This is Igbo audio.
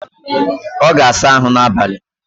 Ọ ga-asa ahụ n'abalị